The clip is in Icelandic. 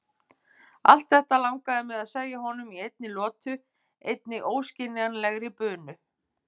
Allt þetta langaði mig að segja honum í einni lotu, einni óskiljanlegri bunu.